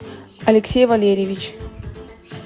алексей валерьевич